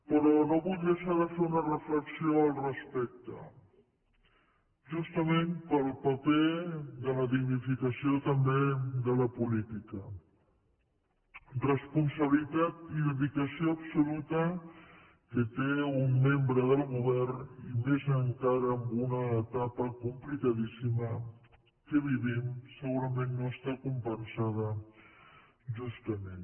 però no vull deixar de fer una reflexió al respecte justament pel paper de la dignificació també de la política responsabilitat i dedicació absoluta que té un membre del govern i més encara en una etapa complicadíssima que vivim segurament no estan compensades justament